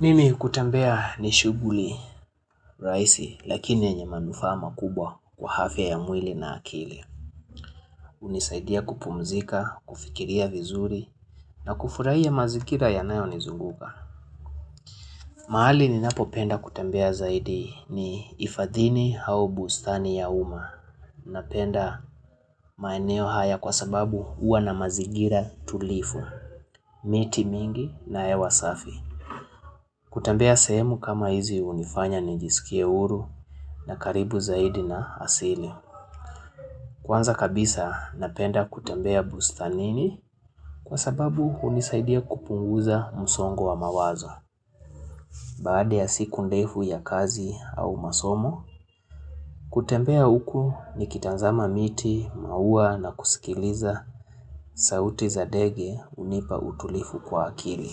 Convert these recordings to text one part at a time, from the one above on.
Mimi kutembea ni shughuli rahisi lakini yenye manufaa makubwa kwa afya ya mwili na akili. Hunisaidia kupumzika, kufikiria vizuri na kufurahia mazingira yanayo nizunguka. Mahali ninapopenda kutembea zaidi ni hifadhini au bustani ya umma. Napenda maeneo haya kwa sababu huwa na mazingira tulivu. Miti mingi na hewa safi. Kutembea sehemu kama hizi hunifanya nijisikie huru na karibu zaidi na asili. Kwanza kabisa napenda kutembea bustanini kwa sababu hunisaidia kupunguza msongo wa mawazo. Baada ya siku ndefu ya kazi au masomo, kutembea uku nikitanzama miti, mauwa na kusikiliza sauti za dege hunipa utulifu kwa akili.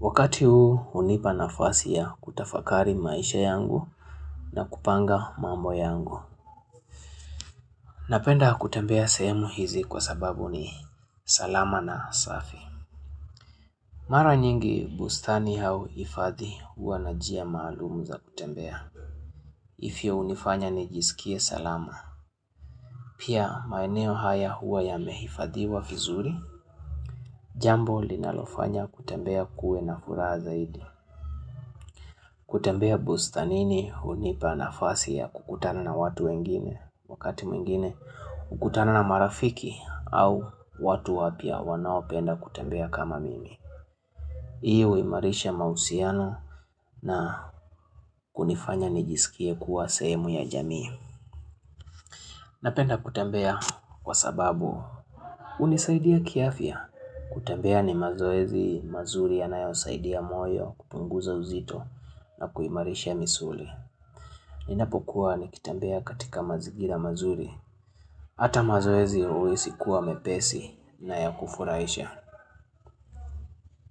Wakati huu hunipa nafasi ya kutafakari maisha yangu na kupanga mambo yangu. Napenda kutembea sehemu hizi kwa sababu ni salama na safi. Mara nyingi bustani au hifadhi huwa na njia maalumu za kutembea. Ifyo hunifanya nijisikie salama. Pia maeneo haya huwa yamehifadhiwa vizuri. Jambo linalofanya kutembea kuwe na furaha zaidi. Kutembea bustanini hunipa nafasi ya kukutana na watu wengine wakati mwingine Ukutana na marafiki au watu wapya wanaopenda kutembea kama mimi. Hii uimarisha mahusiano na kunifanya nijisikie kuwa sehemu ya jamii Napenda kutembea kwa sababu hunisaidia kiafya kutembea ni mazoezi mazuri yanayosaidia moyo kupunguza uzito na kuimarisha misuli Ninapokuwa nikitembea katika mazingira mazuri Hata mazoezi huwezi kuwa mepesi na ya kufurahisha.